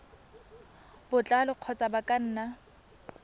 botlalo kgotsa ba ka nna